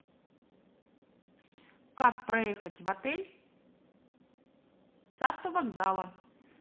как проехать в отель с автовокзала